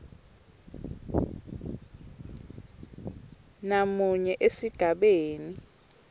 b namunye esigabeni